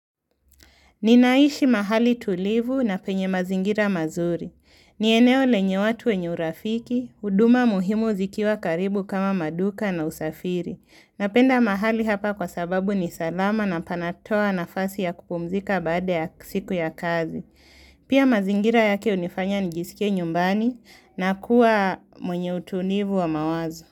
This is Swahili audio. Ninaishi mahali tulivu na penye mazingira mazuri. Nieneo lenye watu wenye urafiki, huduma muhimu zikiwa karibu kama maduka na usafiri. Napenda mahali hapa kwa sababu ni salama na panatoa nafasi ya kupumzika baada ya siku ya kazi. Pia mazingira yake unifanya njisike nyumbani na kuwa mwenye utulivu wa mawazo.